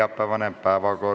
Ilusat päeva teile!